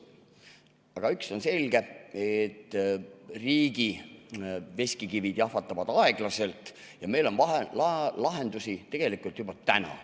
Aga üks on selge: riigi veskikivid jahvatavad aeglaselt ja meil on lahendusi vaja tegelikult juba täna.